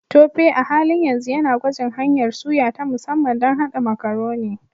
Tope a halin yanzu yana gwajin hanyar suya ta musamman don haɗa Macaroni.